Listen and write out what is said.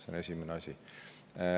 See on esimene asi.